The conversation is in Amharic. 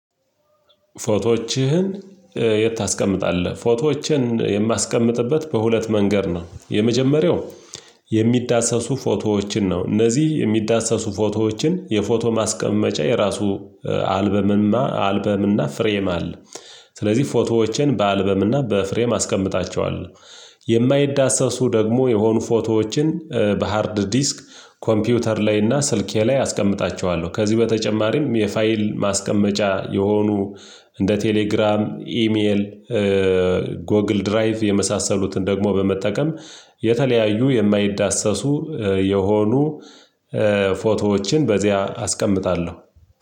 ፎቶዎችህን የት ታስቀምጣለህ? ፎቶዎችን የማስቀምጥበት በሁለት መንገድ ነው። የመጀመሪያው የሚዳሰሱ ፎቶዎችን ነው። እነዚህ የሚዳሰሱ ፎቶዎችን የፎቶ ማስቀመጫ የራሱ አልበምንማ አልበም እና ፍሬም አለ። ስለዚህ ፎቶዎችን በአልበም እና በፍሬም አስቀምጣቸዋለሁ። የማይዳሰሱ ደግሞ የሆኑ ፎቶዎችን በሃርድ ዲስክ ኮምፒውተር ላይ እና ስልኬ ላይ አስቀምጣቸዋለሁ። ከዚህ በተጨማሪም የፋይል ማስቀመጫ የሆኑ እንደ ቴሌግራም ኢሜል ጎግል ድራይቭ የመሳሰሉትን ደግሞ በመጠቀም የተለያዩ የማይዳሰሱ የሆኑ ፎቶዎችን በዚያ አስቀምጣለሁ።